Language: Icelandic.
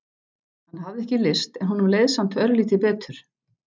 Hann hafði ekki lyst en honum leið samt örlítið betur.